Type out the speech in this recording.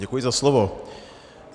Děkuji za slovo.